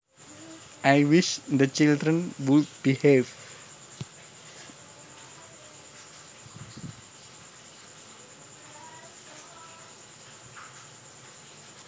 I wish the children would behave